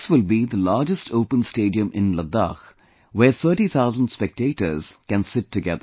This will be the largest open stadium in Ladakh where 30,000 spectators can sit together